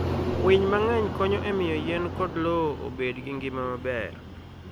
Winy mang'eny konyo e miyo yien kod lowo obed gi ngima maber.